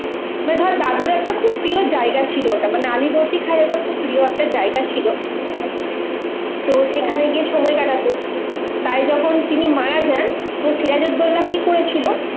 বা ধর দাদুর একটা খুব প্রিয় জায়গা ছিল ওটা, মানে আলীবর্দী খায়ের ওইটা খুব প্রিয় একটা জায়গা ছিল. তো সেখানে গিয়ে সময় কাটাতো, তাই যখন তিনি মারা যান তো সিরাজ উদ্দৌলা কি করেছিল,